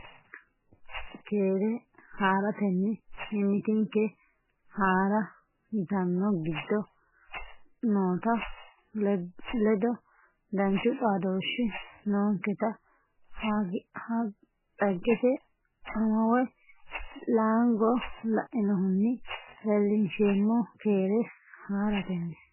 Keere haa ratenni mimmitinke Haa ra yitanno giddo noota ledo danchu xaadooshshi noonketa dhaggete ama woy Laango lainohunni leellinsheemmo Keere haa ratenni.